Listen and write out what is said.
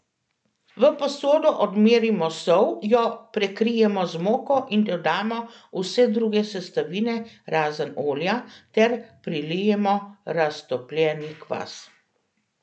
V posodo odmerimo sol, jo prekrijemo z moko in dodamo vse druge sestavine razen olja ter prilijemo raztopljeni kvas.